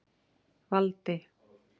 Valdi